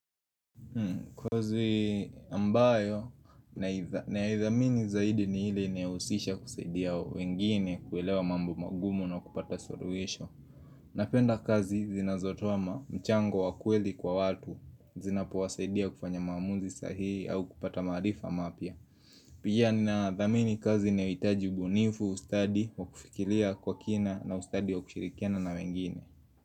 Kazi ambayo naidhamini zaidi ni ile inayohusisha kusaidia wengine kuelewa mambo magumu na kupata suluhisho Napenda kazi zinazotoma mchango wakweli kwa watu zinapowasaidia kufanya mamuzi sahihi au kupata maarifa mapya Pia ni nadhamini kazi inayoitaji ubunifu ustadi wa kufikiria kwa kina na ustadi wa kushirikiana na wengine.